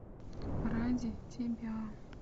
ради тебя